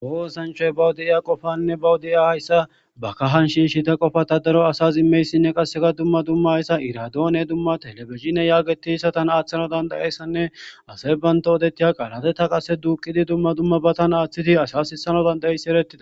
Kawo oththanchay bawu de'ya qofane bawu deiya asas ba kahan shishshida qoffata asas immizayssinne dumma dumma irradone tellebizhzhine yaggetiyasan aththanaw dandiyayssanne asay bantta oddetiya qalla qasse duuqidi dumma dummabatan asa sissanas dand'zayssi eretides.